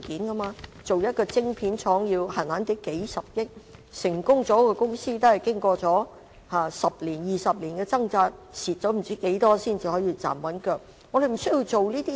設立一間晶片廠，動輒要數十億元，成功的公司經過十多二十年的掙扎，不知虧蝕了多少金錢才能站穩陣腳。